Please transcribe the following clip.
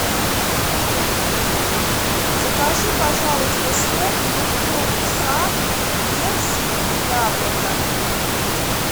закажи пожалуйста сок фруктовый сад персик яблоко